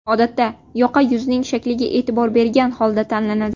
Odatda yoqa yuzning shakliga e’tibor bergan holda tanlanadi.